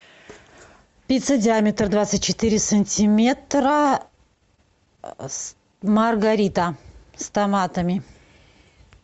пицца диаметр двадцать четыре сантиметра маргарита с томатами